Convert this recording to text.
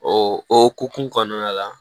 O o hokumu kɔnɔna la